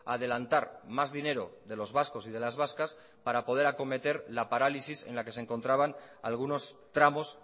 a adelantar más dinero de los vascos y de las vascas para poder acometer la parálisis en la que se encontraban algunos tramos